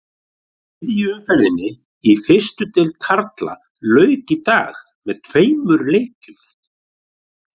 Þriðju umferðinni í fyrstu deild karla lauk í dag með tveimur leikjum.